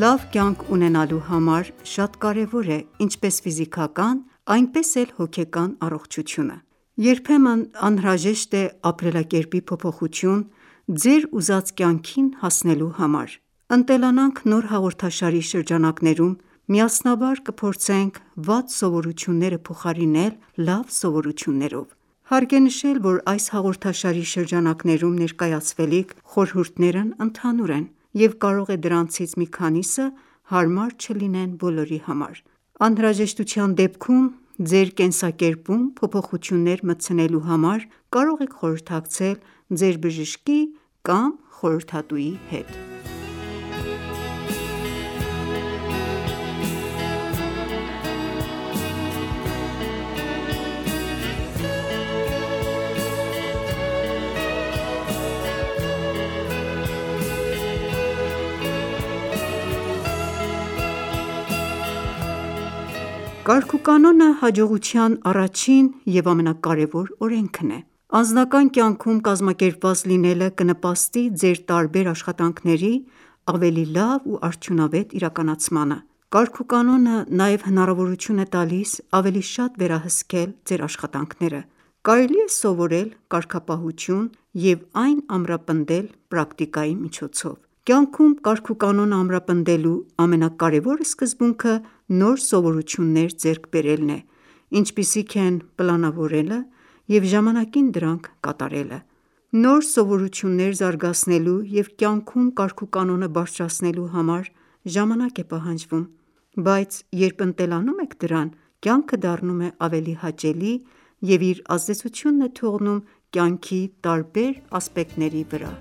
Լավ կյանք ունենալու համար շատ կարևոր է ինչպես ֆիզիկական, այնպես էլ հոգեկան առողջությունը:Երբեմն անհրաժեշտ է ապրելակերպի փոփոխություն՝ ձեր ուզած կյանքին հասնելու համար: «Ընտելանանք» նոր հաղորդաշարի շրջանակներում միասնաբար կփորձենք վատ սովորությունները փոխարինել լավ սովորություններով։ Հարկ է նշել, որ այս հաղորդաշարի շրջանակներում ներկայացվելիք խորհուրդներն ընդհանուր են, և կարող է դրանցից մի քանիսը հարմար չլինեն բոլորի համար: Անհրաժեշտության դեպքում ձեր կենսակերպում փոփոխություններ մտցնելու համար կարող եք խորհրդակցել ձեր բժշկի կամ խորհրդատուի հետ: Կարգուկանոնը հաջողության առաջին և ամենակարևոր օրենքն է։ Անձնական կյանքում կազմակերպված լինելը կնպաստի ձեր տարբեր աշխատանքների ավելի լավ ու արդյունավետ իրականացմանը: Կարգուկանոնը նաև հնարավորություն է տալիս ավելի շատ վերահսկել ձեր աշխատանքները: Կարելի է սովորել կարգապահություն և այն ամրապնդել պրակտիկայի միջոցով: Կյանքում կարգուկանոնը ամրապնդելու ամենակարևոր սկզբունքը նոր սովորություններ ձեռք բերելն է, ինչպիսիք են՝ պլանավորելը և ժամանակին դրանք կատարելը: Նոր սովորություններ զարգացնելու և կյանքում կարգուկանոնը բարձրացնելու համար ժամանակ է պահանջվում, բայց երբ ընտելանում եք դրան, կյանքը դառնում է ավելի հաճելի և իր ազդեցությունն է թողնում կյանքի տարբեր ասպեկտների վրա: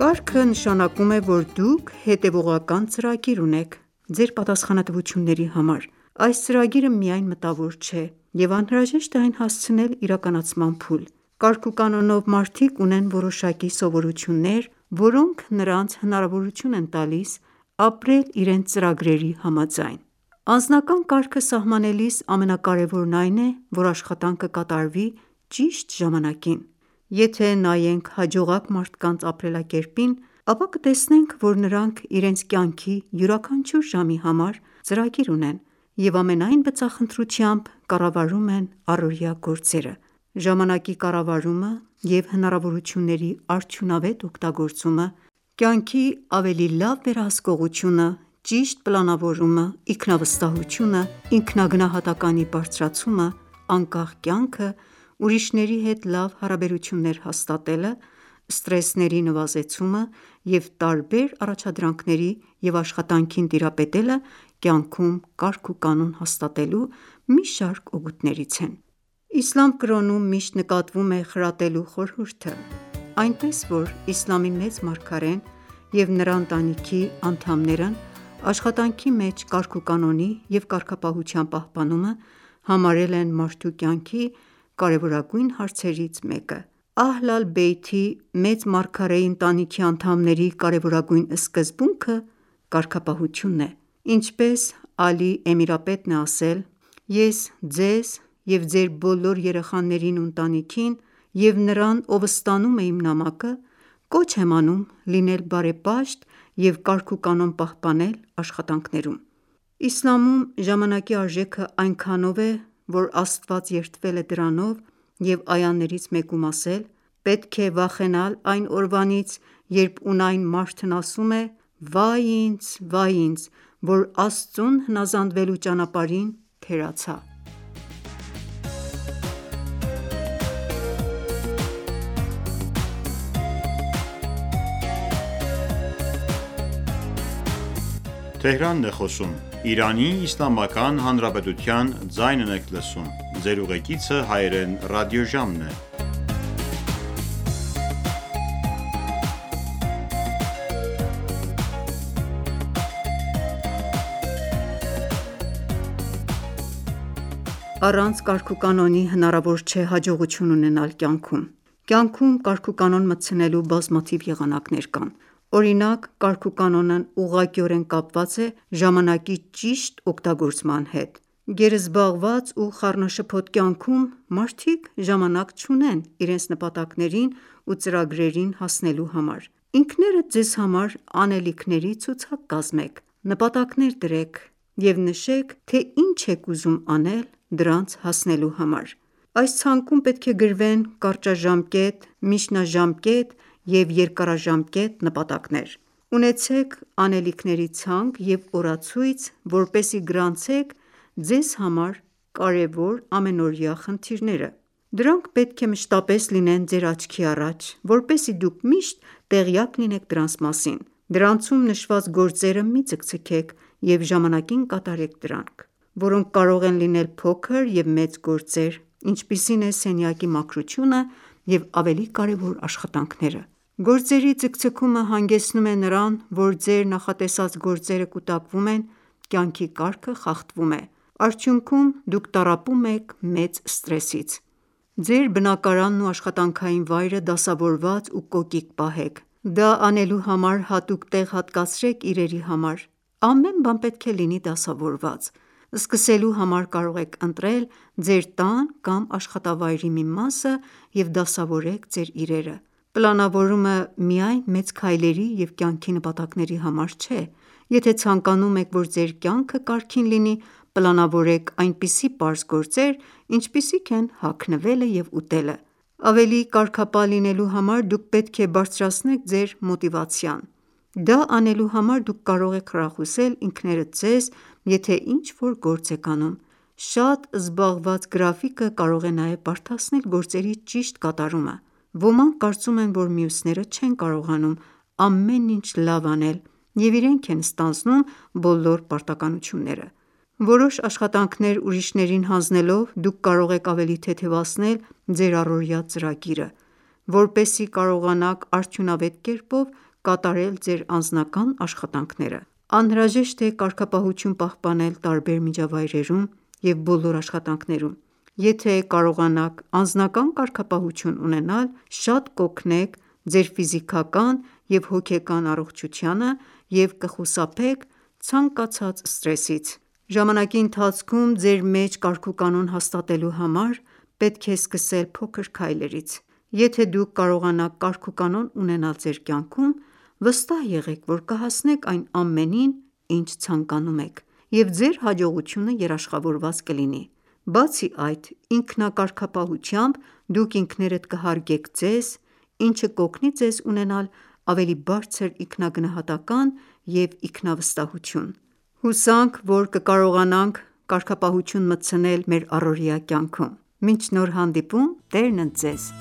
Կարգը նշանակում է, որ դուք հետևողական ծրագիր ունեք՝ ձեր պատասխանատվությունների համար: Այս ծրագիրը միայն մտավոր չէ, և անհրաժեշտ է այն հասցնել իրականացման փուլ։ Կարգուկանոնով մարդիկ ունեն որոշակի սովորություններ, որոնք նրանց հնարավորություն են տալիս ապրել իրենց ծրագրերի համաձայն: Անձնական կարգը սահմանելիս ամենակարևորն այն է, որ աշխատանքը կատարվի ճիշտ ժամանակին: Եթե ​​նայենք հաջողակ մարդկանց ապրելակերպին, ապա կտեսնենք որ նրանք իրենց կյանքի յուրաքանչյուր ժամի համար ծրագիր ունեն և ամենայն բծախնդրությամբ կառավարում են առօրյա գործերը: Ժամանակի կառավարումը և հնարավորությունների արդյունավետ օգտագործումը, կյանքի ավելի լավ վերահսկողությունը, ճիշտ պլանավորումը, ինքնավստահությունը, ինքնագնահատականի բարձրացումը, անկախ կյանքը, ուրիշների հետ լավ հարաբերություններ հաստատելը, սթրեսների նվազեցումը և տարբեր առաջադրանքների և աշխատանքին տիրապետելը կյանքում կարգուկանոն հաստատելու մի շարք օգուտներից են: Իսլամ կրոնում միշտ նկատվում է խրատելու խորհուրդը, այնպես որ իսլամի մեծ մարգարեն և նրա ընտանիքի անդամներն աշխատանքի մեջ կարգուկանոնի և կարգապահության պահպանումը համարել են մարդու կյանքի կարևորագույն հարցերից մեկը։ «Ահլ ալ Բեյթ»-ի՝ մեծ մարգարեի ընտանիքի անդամների կարևորագույն սկզբունքը կարգապահությունն է։ Ինչպես Ալի Էմիրապետն է ասել․ «Ես ձեզ և ձեր բոլոր երեխաներին ու ընտանիքին, և նրան ով ստանում է իմ նամակը, կոչ եմ անում լինել բարեպաշտ և կարգուկանոն պահպանել աշխատանքներում»: Իսլամում ժամանակի արժեքը այնքանով է, որ Աստված երդվել է դրանով և այաներից մեկում ասել․ «Պետք է վախենալ այն օրվանից, երբ ունայն մարդն ասում է՝ «Վայ ինձ, վայ ինձ, որ Աստծուն հնազանդվելու ճանապարհին թերացա»։ Առանց կարգուկանոնի հնարավոր չէ հաջողություն ունենալ կյանքում։ Կյանքում կարգուկանոն մտցնելու բազմաթիվ եղանակներ կան: Օրինակ՝ կարգուկանոնն ուղղակիորեն կապված է ժամանակի ճիշտ օգտագործման հետ։ Գերզբաղված ու խառնաշփոթ կյանքում մարդիկ ժամանակ չունեն իրենց նպատակներին ու ծրագրերին հասնելու համար։ Ինքներդ ձեզ համար անելիքների ցուցակ կազմեք՝ նպատակներ դրեք և նշեք թե ինչ եք ուզում անել դրանց հասնելու համար: Այս ցանկում պետք է գրվեն կարճաժամկետ, միջնաժամկետ և երկարաժամկետ նպատակներ։ Ունեցեք անելիքների ցանկ և օրացույց, որպեսզի գրանցեք ձեր կարևոր ամենօրյա խնդիրները: Դրանք պետք է մշտապես լինեն ձեր աչքի առաջ, որպեսզի դուք միշտ տեղյակ լինեք դրանց մասին: Դրանցում նշված գործերը մի ձգձգեք և ժամանակին կատարեք դրանք, որոնք կարող են լինել փոքր և մեծ գործեր, ինչպիսին է սենյակի մաքրությունը և ավելի կարևոր աշխատանքները: Գործերի ձգձգումը հանգեցնում է նրան, որ ձեր նախատեսած գործերը կուտակվում են, կյանքի կարգը խախտվում է: Արդյունքում, դուք տառապում եք մեծ սթրեսից: Ձեր բնակարանն ու աշխատանքային վայրը դասավորված ու կոկիկ պահեք: Դա անելու համար հատուկ տեղ հատկացրեք իրերի համար: Ամեն բան պետք է լինի դասավորված: Սկսելու համար կարող եք ընտրել ձեր տան կամ աշխատավայրի մի մասը և դասավորեք ձեր իրերը: Պլանավորումը միայն մեծ քայլերի և կյանքի նպատակների համար չէ: Եթե ​​ցանկանում եք, որ ձեր կյանքը կարգին լինի, պլանավորեք այնպիսի պարզ գործեր, ինչպիսիք են հագնվելը և ուտելը: Ավելի կարգապահ լինելու համար դուք պետք է բարձրացնեք ձեր մոտիվացիան: Դա անելու համար դուք կարող եք խրախուսել ինքներդ ձեզ, եթե ինչ-որ գործ եք անում: Շատ զբաղված գրաֆիկը կարող է նաև բարդացնել գործերի ճիշտ կատարումը: Ոմանք կարծում են, որ մյուսները չեն կարողանում ամեն ինչ լավ անել և իրենք են ստանձնում բոլոր պարտականությունները: Որոշ աշխատանքներ ուրիշներին հանձնելով՝ դուք կարող եք ավելի թեթևացնել ձեր առօրյա ծրագիրը, որպեսզի կարողանաք արդյունավետ կերպով կատարել ձեր անձնական աշխատանքները: Անհրաժեշտ է կարգապահություն պահպանել տարբեր միջավայրերում և բոլոր աշխատանքներում: Եթե ​​կարողանաք անձնական կարգապահություն ունենալ, շատ կօգնեք ձեր ֆիզիկական և հոգեկան առողջությանը և կխուսափեք ցանկացած սթրեսից։ Ժամանակի ընթացքում ձեր մեջ կարգուկանոն հաստատելու համար՝ պետք է սկսել փոքր քայլերից։ Եթե ​​դուք կարողանաք կարգուկանոն ունենալ ձեր կյանքում, վստահ եղեք, որ կհասնեք այն ամենին, ինչ ցանկանում եք, և ձեր հաջողությունը երաշխավորված կլինի։ Բացի այդ, ինքնակարգապահությամբ դուք ինքներդ կհարգեք ձեզ, ինչը կօգնի ձեզ ունենալ ավելի բարձր ինքնագնահատական ​​և ինքնավստահություն: Հուսանք, որ կկարողանանք կարգապահություն մտցնել մեր առօրյա կյանքում: Մինչ նոր հանդիպում Տերն ընդ Ձեզ: